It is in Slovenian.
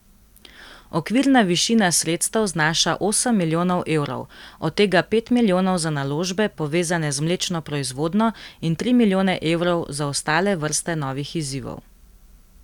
Okvirna višina sredstev znaša osem milijonov evrov, od tega pet milijonov za naložbe, povezane z mlečno proizvodnjo, in tri milijone evrov za ostale vrste novih izzivov.